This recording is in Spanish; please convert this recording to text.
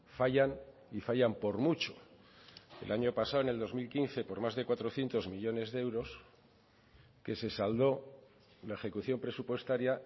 fallan y fallan por mucho el año pasado en el dos mil quince por más de cuatrocientos millónes de euros que se saldó la ejecución presupuestaria